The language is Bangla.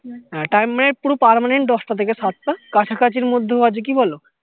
হ্যা time পুরো permanent সাত টা থেকে দশ টা কাছাকাছির মধ্যেও আছে কি বোলো